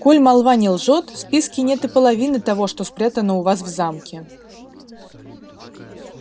коль молва не лжёт в списке нет и половины того что спрятано у вас в замке